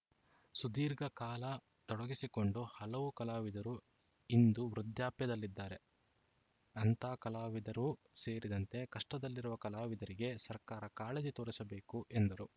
ಸುದೀರ್ಘ ಕಾಲ ತೊಡಗಿಸಿಕೊಂಡ ಹಲವು ಕಲಾವಿದರು ಇಂದು ವೃದ್ಧಾಪ್ಯದಲ್ಲಿದ್ದಾರೆ ಅಂಥ ಕಲಾವಿದರೂ ಸೇರಿದಂತೆ ಕಷ್ಟದಲ್ಲಿರುವ ಕಲಾವಿದರಿಗೆ ಸರ್ಕಾರ ಕಾಳಜಿ ತೋರಿಸಬೇಕು ಎಂದರು